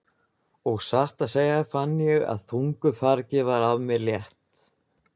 Og satt að segja fann ég að þungu fargi var af mér létt.